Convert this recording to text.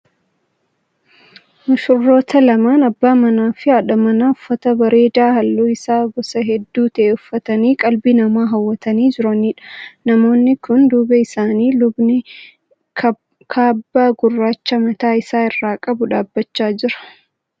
Mushurroota lamaan abbaa manaa fi haadha manaa uffata bareedaa halluun isaa gosa hedduu ta'e uffatanii qalbii namaa hawwatanii jiraniidha. Namoota kana duuba isaanii lubni kaabbaa gurraacha mataa isaa irraa qabu dhaabbachaa jira.